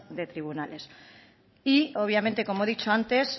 de tribunales y obviamente como he dicho antes